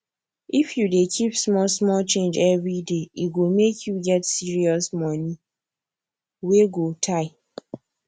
if you dey keep small small change every daye go make you get serious money wey go tey